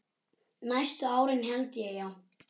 Næstu árin held ég, já.